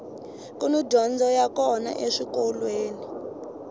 kuni dyondzo ya kona eswikolweni